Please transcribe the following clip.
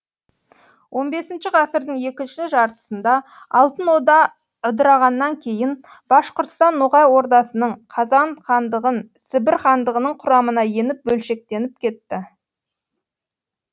он бесінші ғасырдың екінші жартысында алтын орда ыдырағаннан кейін башқұрстан ноғай ордасының қазан хандығын сібір хандығының құрамына еніп бөлшектеніп кетті